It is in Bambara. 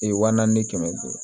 Ee waa naani ni kɛmɛ duuru